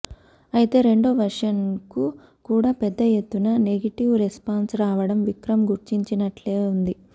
ఐతే రెండో వెర్షన్కు కూడా పెద్ద ఎత్తున నెగెటివ్ రెస్పాన్స్ రావడం విక్రమ్ గుర్తించనట్లే ఉంది